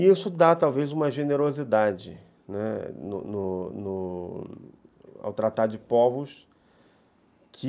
E isso dá, talvez, uma generosidade, né, no no ao tratar de povos que...